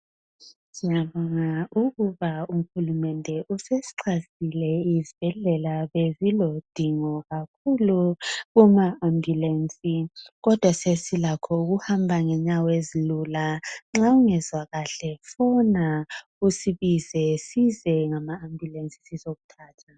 Siyabonga ukuba uhulumende usesixhasile isibhedlela, bekulodingo kakhulu lwama ambulensi, kodwa sesilakho ukuhamba ngenyawo ezilula. Nxa ungezwa kuhle fona usibize size ngama ambulensi sizokuthatha.